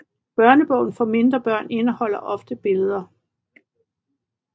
Børnebogen for mindre børn indeholder ofte billeder